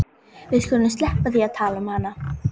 Við skulum sleppa því að tala um hana.